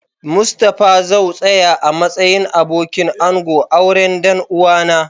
Mustapha zau tsaya a'matsayin abokin ango a'auren dan uwa na.